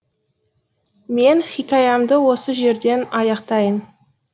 мен хикаямды осы жерден аяқтайын